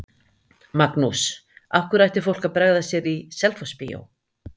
Magnús: Af hverju ætti fólk að bregða sér í Selfossbíó?